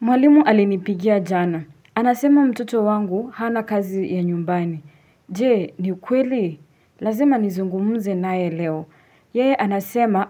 Mwalimu alinipigia jana. Anasema mtoto wangu hana kazi ya nyumbani. Je, ni ukweli? Lazima nizungumuze naye leo. Yeye anasema